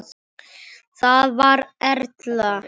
Það var Ella vinkona hennar.